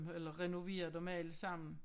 Eller renoveret dem alle sammen